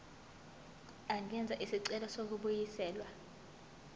angenza isicelo sokubuyiselwa